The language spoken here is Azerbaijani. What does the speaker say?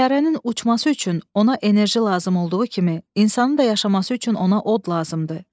Təyyarənin uçması üçün ona enerji lazım olduğu kimi, insanın da yaşaması üçün ona od lazımdır.